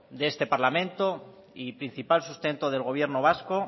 de este parlamento y principal sustento del gobierno vasco